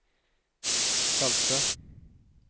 salte